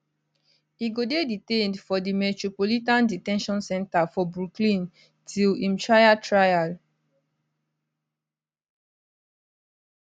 e go dey detained for di metropolitan de ten tion center for brooklyn till im trial trial